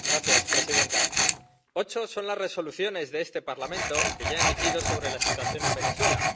Señora presidenta, ocho son las Resoluciones que este Parlamento ya ha emitido sobre la situación en Venezuela.